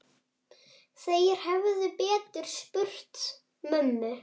Þeir hefðu betur spurt mömmu.